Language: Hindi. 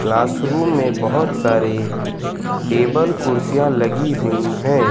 क्लासरूम मे बहोत सारे टेबल कुर्सियां लगी हुई हैं।